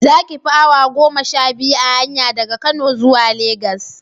Za ki fi awa goma sha biyu a hanya daga Kano zuwa Legas